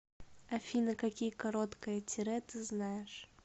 афина какие короткое тире ты знаешь